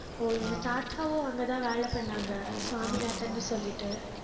ஓ எங்க தாத்தாவும், அங்கேதான் வேலை பண்ணாங்க. சுவாமிநாதன்னு சொல்லிட்டு.